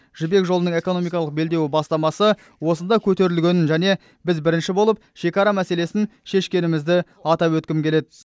жібек жолының экономикалық белдеуі бастамасы осында көтерілгенін және біз бірінші болып шекара мәселесін шешкенімізді атап өткім келеді